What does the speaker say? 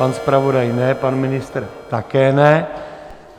Pan zpravodaj ne, pan ministr také ne.